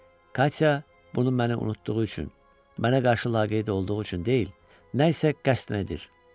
Katya bunu mənə unutduğu üçün, mənə qarşı laqeyd olduğu üçün deyil, nəsə qəsdən edir.